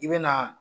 I bɛ na